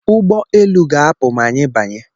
Ụgbọ elu ga-apụ ma anyị banye